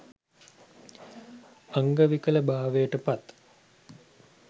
අංග විකලභාවයට පත්